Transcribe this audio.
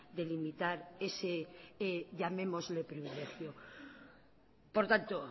de limitar ese llamémosle privilegio por tanto